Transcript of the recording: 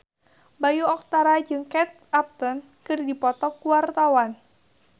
Bayu Octara jeung Kate Upton keur dipoto ku wartawan